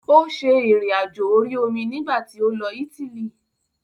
Ó ṣe ìrìn àjò orí omi nígbà tí ó lọ Ítílì.